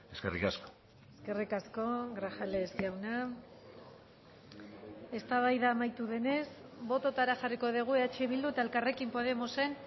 eskerrik asko eskerrik asko grajales jauna eztabaida amaitu denez bototara jarriko dugu eh bildu eta elkarrekin podemosen